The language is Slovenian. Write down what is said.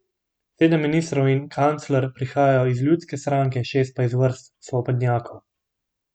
Sedem ministrov in kancler prihajajo iz ljudske stranke, šest pa iz vrst svobodnjakov.